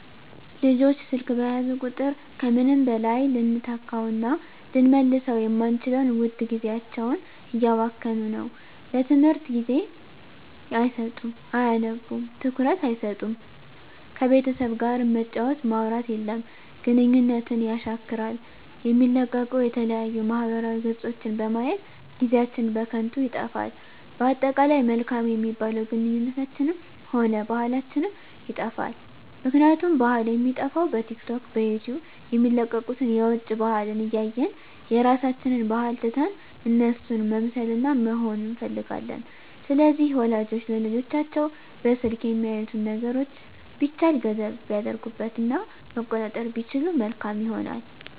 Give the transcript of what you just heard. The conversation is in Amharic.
ልጆች ስልክ በያዙ ቁጥር ከምንም በላይ ልንተካዉእና ልንመልሰዉ የማንችለዉን ዉድ ጊዜያቸዉን እያባከኑት ነዉ ለትምህርት ጊዜ አይሰጡም አያነቡም ትኩረት አይሰጡም ከቤተሰብ ጋርም መጫወት ማዉራት የለም ግንኙነትን የሻክራል የሚለቀቁ የተለያዩ ማህበራዊ ገፆችን በማየት ጊዜአችን በከንቱ ይጠፋል በአጠቃላይ መልካም የሚባሉ ግንኙነታችንንም ሆነ ባህላችንንም ይጠፋል ምክንያቱም ባህል የሚጠፋዉ በቲክቶክ በዩቲዩብ የሚለቀቁትን የዉጭ ባህልን እያየን የራሳችንን ባህል ትተን እነሱን መምሰልና መሆን እንፈልጋለን ስለዚህ ወላጆች ለልጆቻቸዉ በስልክ የሚያዩትን ነገሮች ቢቻል ገደብ ቢያደርጉበት እና መቆጣጠር ቢችሉ መልካም ይሆናል